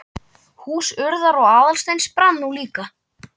Hús Urðar og Aðalsteins brann nú líka.